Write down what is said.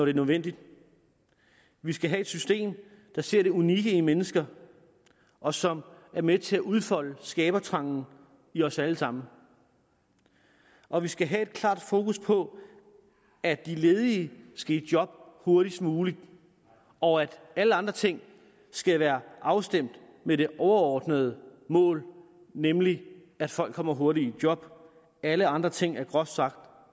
er nødvendigt vi skal have et system der ser det unikke i mennesker og som er med til at udfolde skabertrangen i os alle sammen og vi skal have et klart fokus på at de ledige skal i job hurtigst muligt og at alle andre ting skal være afstemt med det overordnede mål nemlig at folk kommer hurtigt i job alle andre ting er groft sagt